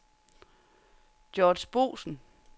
Georg Boesen